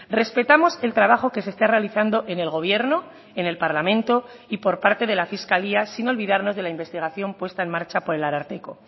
respetamos el trabajo que se está realizando en el gobierno en el parlamento y por parte de la fiscalía sin olvidarnos de la investigación puesta en marcha por el ararteko